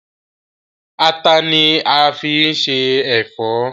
Àtà ni a máa fi se ẹ̀fọ́.